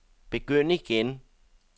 begynd igen